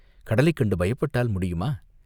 கடலைக் கண்டு பயப்பட்டால் முடியுமா?